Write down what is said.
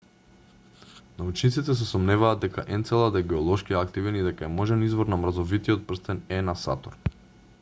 научниците се сомневаат дека енцелад е геолошки активен и дека е можен извор на мразовитиот прстен е на сатурн